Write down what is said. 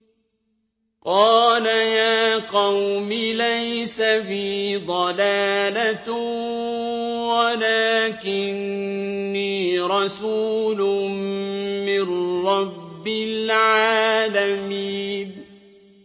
قَالَ يَا قَوْمِ لَيْسَ بِي ضَلَالَةٌ وَلَٰكِنِّي رَسُولٌ مِّن رَّبِّ الْعَالَمِينَ